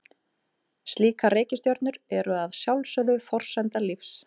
Slíkar reikistjörnur eru að sjálfsögðu forsenda lífs.